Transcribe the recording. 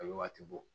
A bɛ waati bɔ